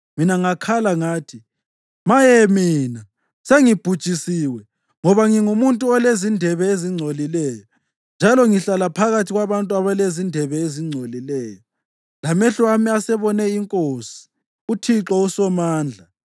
Mina ngakhala ngathi, “Maye mina! Sengibhujisiwe! Ngoba ngingumuntu olezindebe ezingcolileyo, njalo ngihlala phakathi kwabantu abalezindebe ezingcolileyo, lamehlo ami asebone iNkosi, uThixo uSomandla.”